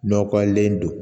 Nɔgɔlen don